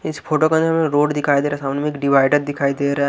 इस फोटो के अंदर हमें रोड दिखाई दे रहा है सामने में एक डिवाइडर दिखाई दे रहा है.